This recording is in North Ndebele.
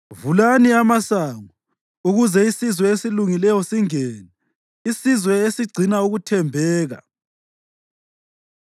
Vulani amasango ukuze isizwe esilungileyo singene, isizwe esigcina ukuthembeka.